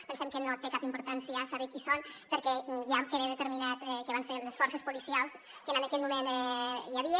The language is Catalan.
pensem que no té cap importància saber qui són perquè ja queda determinat que van ser les forces policials que en aquell moment hi havia